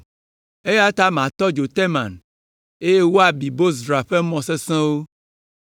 Eya ta matɔ dzo Teman, eye wòabi Bozra ƒe mɔ sesẽwo.”